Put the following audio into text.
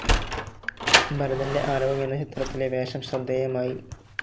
ഭരതന്റെ ആരവം എന്ന ചിത്രത്തിലെ വേഷം ശ്രദ്ധേയമായി.